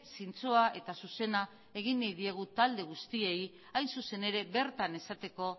zintzoa eta zuzena egin nahi diegu talde guztiei hain zuzen ere bertan esateko